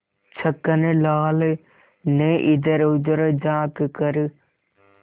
छक्कन लाल ने इधरउधर झॉँक कर